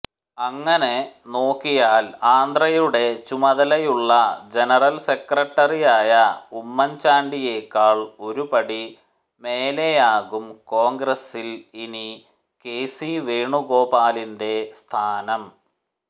അങ്ങനെ നോക്കിയാൽ ആന്ധ്രയുടെ ചുമതലയുള്ള ജനറൽ സെക്രട്ടറിയായ ഉമ്മൻചാണ്ടിയേക്കാൾ ഒരുപടി മേലെയാകും കോൺഗ്രസിൽ ഇനി കെ സി വേണുഗോപാലിന്റെ സ്ഥാനം